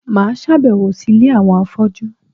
Mà á sàbẹ̀wò sí Ilé àwọn afọ́jú